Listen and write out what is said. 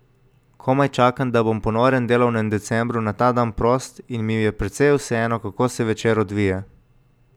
Komaj čakam, da bom po norem delovnem decembru na ta dan prost in mi je precej vseeno, kako se večer odvije.